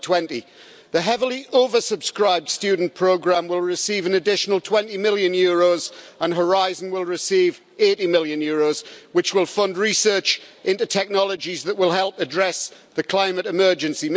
2020. The heavily oversubscribed student programme will receive an additional EUR 20 million and Horizon will receive EUR 80 million, which will fund research into technologies that will help address the climate emergency.